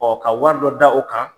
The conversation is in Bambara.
ka wari dɔ da o kan.